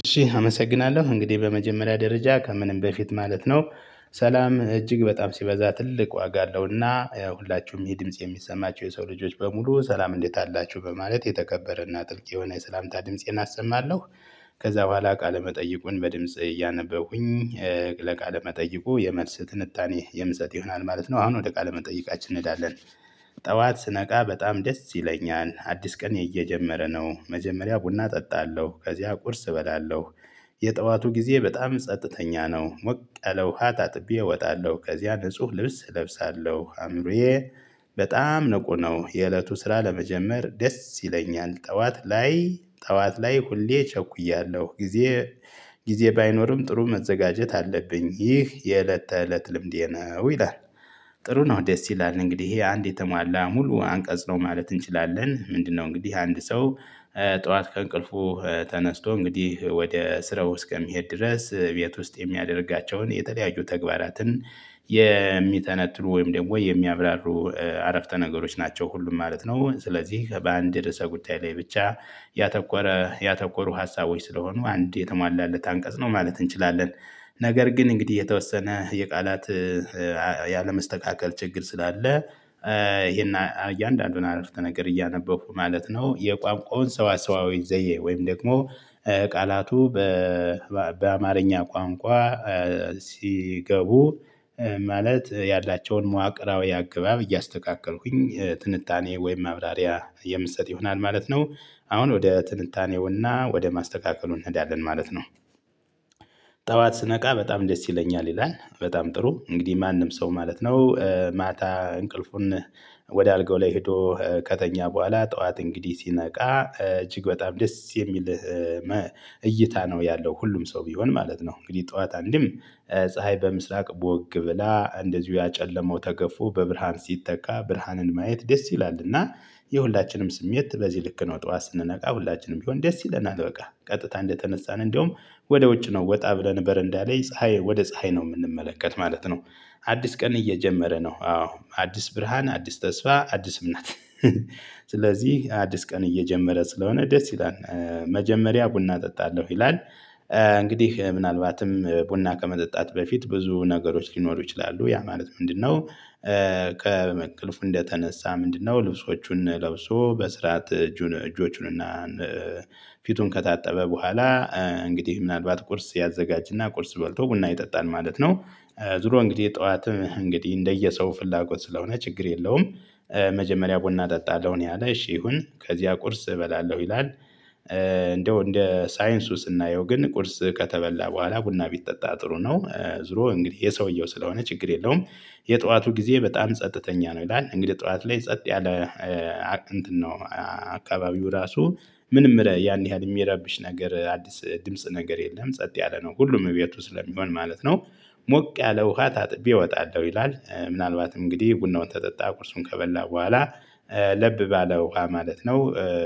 እሺ አመሰግናለሁ እንግዲህ በመጀመሪያ ደረጃ ከምንም በፊት ማለት ነው። ሰላም እጅግ በጣም ሲበዛ ትልቅ ዋጋ አለውና ሁላችሁም ይሄ ድምጽ የሚሰማችሁ የሰው ልጆች በሙሉ ሰላም እንዴት አላችሁ በማለት የተከበረና ጥልቅ የሆነ ሰላምታ ድምፄን አሰማለሁ። ከዛ በኋላ ቃለ መጠይቁን በድምጽ እያነበብኩኝ ለቃለ መጠይቁ የመልስ ትንታኔ የምሰጥ ይሆናል ማለት ነው። አሁን ወደ ቃለ መጠይቃችን እንሄዳለን። ጠዋት ስነቃ በጣም ደስ ይለኛል አዲስ ቀን እየጀመረ ነው መጀመሪያ ቡና እጠጣለሁ ከዚያ ቁርስ እበላለሁ። የጠዋቱ ጊዜ በጣም ጸጥተኛ ነው። ሞቅ ያለ ውሃ ታጥቤ እወጣለሁ ከዚያ ንጹህ ልብስ እለብሳለሁ። አምሮዬ በጣም ንቁ ነው። የእለቱ ስራ ለመጀመር ደስ ይለኛል። ጠዋት ላይ ጠዋት ላይ ሁሌ ቸኩያለሁ ጊዜ። ጊዜ ባይኖርም ጥሩ መዘጋጀት አለብኝ ይህ የእለት ተእለት ልምዴ ነው ይላል። ጥሩ ነው ደስ ይላል። እንግዲህ ይሄ አንድ የተሟላ ሙሉ አንቀጽ ነው ማለት እንችላለን። ምንድነው? እንግዲህ አንድ ሰው ጠዋት ከእንቅልፉ ተነስቶ እንግዲህ ወደ ስራው እስከሚሄድ ድረስ ቤት ውስጥ የሚያደርጋቸውን የተለያዩ ተግባራትን። የሚተነትኑ ወይም ደግሞ የሚያብራሩ አረፍተ ነገሮች ናቸው ሁሉም ማለት ነው። ስለዚህ በአንድ ርዕሰ ጉዳይ ላይ ብቻ ያተኮረ ያተኮሩ ሀሳቦች ስለሆኑ አንድ የተሟላለት አንቀጽ ነው ማለት እንችላለን። ነገር ግን እንግዲህ የተወሰነ የቃላት ያለ መስተካከል ችግር ስላለ ይሄን እያንዳንዱን አረፍተ ነገር እያነበብኩ ማለት ነው። የቋንቋውን ሰዋሰዋዊ ዘዬ ወይም ደግሞ ቃላቱ በ በአማርኛ ቋንቋ ሲገቡ ማለት ያላቸውን መዋቅራዊ አገባብ እያስተካከልኩኝ ትንታኔ ወይም ማብራሪያ የምሰጥ ይሆናል ማለት ነው። አሁን ወደ ትንታኔውና ወደ ማስተካከሉ እንሄዳለን ማለት ነው። ጠዋት ስነቃ በጣም ደስ ይለኛል ይላል። በጣም ጥሩ እንግዲህ ማንም ሰው ማለት ነው። ማታ እንቅልፉን ወደ አልጋው ላይ ሄዶ ከተኛ በኋላ ጠዋት እንግዲህ ሲነቃ እጅግ በጣም ደስ የሚልህ እይታ ነው ያለው ሁሉም ሰው ቢሆን ማለት ነው። እንግዲህ ጠዋት አንድም ፀሀይ በምስራቅ ቦግ ብላ እንደዚሁ ያጨለመው ተገፎ በብርሃን ሲተካ ብርሃንን ማየት ደስ ይላልና። የሁላችንም ስሜት በዚህ ልክ ነው። ጠዋት ስንነቃ ሁላችንም ቢሆን ደስ ይለናል። በቃ ቀጥታ እንደተነሳን እንደውም ወደ ውጭ ነው ወጣ ብለን በረንዳ ላይ ፀሀይ ወደ ፀሀይ ነው የምንመለከት ማለት ነው። አዲስ ቀን እየጀመረ ነው አዎ አዲስ ብርሃን አዲስ ተስፋ አዲስ እምነት። ስለዚህ አዲስ ቀን እየጀመረ ስለሆነ ደስ ይላል መጀመሪያ ቡና እጠጣለሁ ይላል። እንግዲህ ምናልባትም ቡና ከመጠጣት በፊት ብዙ ነገሮች ሊኖሩ ይችላሉ ያ ማለት ምንድነው? ከበእንቅልፉ እንደተነሳ ምንድነው? ልብሶቹን ለብሶ በስርዓት እጁን እጆቹንና ፊቱን ከታጠበ በኋላ እንግዲህ ምናልባት ቁርስ ያዘጋጅና ቁርስ በልቶ ቡና ይጠጣል ማለት ነው። ዙሮ እንግዲህ ጠዋትም እንግዲህ እንደየሰው ፍላጎት ስለሆነ ችግር የለውም። መጀመሪያ ቡና እጠጣለሁ ነው ያለ እሺ ይሁን ከዚያ ቁርስ እበላለሁ ይላል። እንደው እንደ ሳይንሱ ስናየው ግን ቁርስ ከተበላ በኋላ ቡና ቢጠጣ ጥሩ ነው። ዙሮ እንግዲህ የሰውየው ስለሆነ ችግር የለውም። የጠዋቱ ጊዜ በጣም ጸጥተኛ ነው። ይላል እንግዲህ ጠዋት ላይ ጸጥ ያለ እንትን ነው አካባቢው ራሱ ምንም ያን ያህል የሚያረብሽ ነገር አዲስ ድምጽ ነገር የለም ጸጥ ያለ ነው ሁሉም ቤቱ ስለሚሆን ማለት ነው። ሞቅ ያለ ውሃ ታጥቤ እወጣለሁ። ይላል ምናልባትም እንግዲህ ቡናውን ከጠጣ ቁርሱን ከበላ በኋላ ለብ ባለ ውሃ ማለት ነው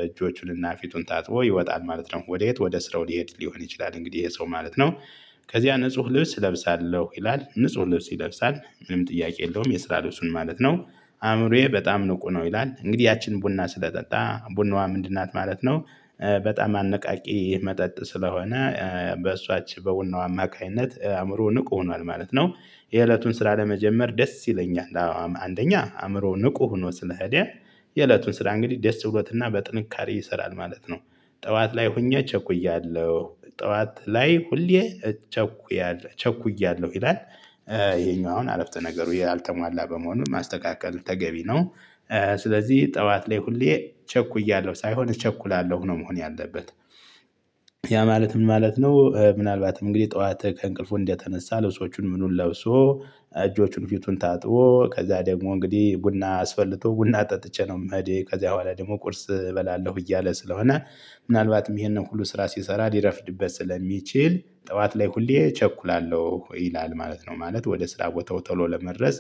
እጆቹንና ፊቱን ታጥቦ ይወጣል ማለት ነው። ወደየት? ወደ ስራው ሊሄድ ሊሆን ይችላል እንግዲህ ይሄ ሰው ማለት ነው። ከዚያ ንጹህ ልብስ እለብሳለሁ ይላል ንጹህ ልብስ ይለብሳል ምንም ጥያቄ የለውም የስራ ልብሱን ማለት ነው። አእምሮዬ በጣም ንቁ ነው ይላል እንግዲህ ያችን ቡና ስለጠጣ ቡናዋ ምንድን ናት ማለት ነው። በጣም አነቃቂ መጠጥ ስለሆነ በእሷች በቡናው አማካኝነት አእምሮ ንቁ ሆኗል ማለት ነው። የእለቱን ስራ ለመጀመር ደስ ይለኛል አዎ አንደኛ አእምሮ ንቁ ሆኖ ስለሄደ። የእለቱን ስራ እንግዲህ ደስ ብሎትና በጥንካሬ ይሰራል ማለት ነው። ጠዋት ላይ ሆኜ ቸኩያለሁ ጠዋት ላይ ሁሌ እቸኩያለሁ ቸኩያለሁ ይላል። ይሄኛውን አረፍተ ነገሩ ያልተሟላ በመሆኑ ማስተካከል ተገቢ ነው። ስለዚህ ጠዋት ላይ ሁሌ ቸኩያለሁ ሳይሆን እቸኩላለሁ ሆኖ መሆን ያለበት አለበት። ያ ማለት ምን ማለት ነው? ምናልባትም እንግዲህ ጠዋት ከእንቅልፉ እንደተነሳ ለብሶቹን ምኑን ለብሶ እጆቹን ፊቱን ታጥቦ ከዛ ደግሞ እንግዲህ ቡና አስፈልቶ ቡና ጠጥቼ ነው ምሄድ ከዛ በኋላ ደግሞ ቁርስ እበላለሁ እያለ ስለሆነ። ምናልባትም ይሄንን ሁሉ ስራ ሲሰራ ሊረፍድበት ስለሚችል ጠዋት ላይ ሁሌ እቸኩላለሁ ይላል ማለት ነው። ማለት ወደ ስራ ቦታው ተሎ ለመድረስ።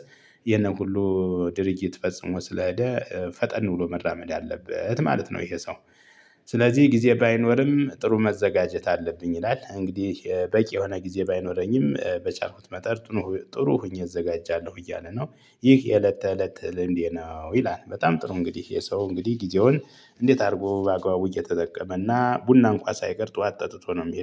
የነን ሁሉ ድርጊት ፈጽሞ ስለሄደ ፈጠን ብሎ መራመድ አለበት ማለት ነው። ይሄ ሰው። ስለዚህ ጊዜ ባይኖርም ጥሩ መዘጋጀት አለብኝ ይላል። እንግዲህ በቂ የሆነ ጊዜ ባይኖረኝም በቻልኩት መጠን ጥሩ ሆኜ እዘጋጃለሁ እያለ ነው። ይህ የእለት ተእለት ልምዴ ነው ይላል። በጣም ጥሩ እንግዲህ ይህ ሰው እንግዲህ ጊዜውን እንዴት አድርጎ በአግባቡ እየተጠቀመና ቡና እንኳ ሳይቀር ጠዋት ጠጥቶ ነው ሚሄድ